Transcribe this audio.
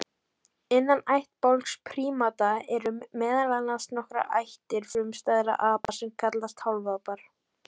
Innan ættbálks prímata eru meðal annars nokkrar ættir frumstæðra apa sem kallast hálfapar.